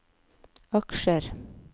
aksjer